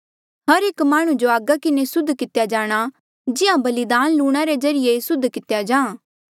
हर एक माह्णुं जो आगा किन्हें सुध कितेया जाणा जिहां बलिदान लूणा रे ज्रीए सुध कितेया जाहाँ